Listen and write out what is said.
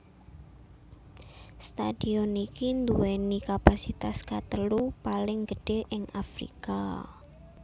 Stadion iki nduwèni kapasitas katelu paling gedhé ing Afrika